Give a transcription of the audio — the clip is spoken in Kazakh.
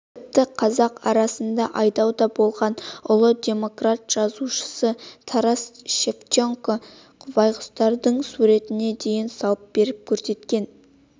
тіпті қазақ арасында айдауда болған ұлы демократ жазушы тарас шевченко байқұстардың суретне дейін салып көрсеткен